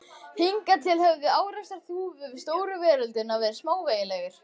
Hingað til höfðu árekstrar Þúfu við stóru veröldina verið smávægilegir.